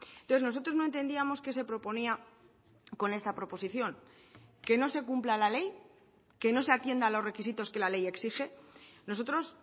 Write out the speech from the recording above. entonces nosotros no entendíamos qué se proponía con esta proposición que no se cumpla la ley que no se atienda a los requisitos que la ley exige nosotros